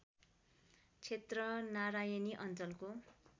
क्षेत्र नारायणी अञ्चलको